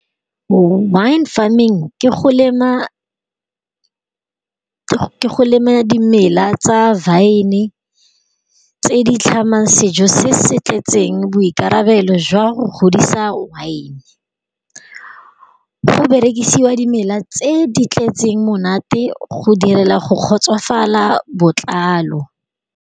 Wine farming ke go lema go lema dimela tsa vine tse di tlhamang sejo se se tletseng boirakabelo jwa go godisa wine. Go berekisiwa dimela tse di tletseng monate go direla go kgotsofala botlalo.